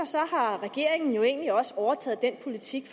har regeringen egentlig også overtaget den politik